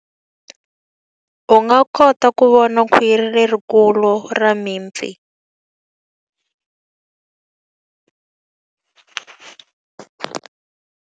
U nga kota ku vona khwiri lerikulu ra mipfi.